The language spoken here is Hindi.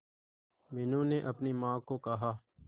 मीनू ने अपनी मां को कहा